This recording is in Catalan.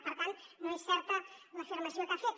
per tant no és certa l’afirmació que ha fet